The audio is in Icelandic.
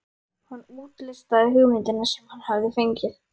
Hann útlistaði hugmyndina sem hann hafði fengið.